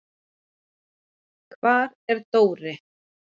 Hvar er Dóri?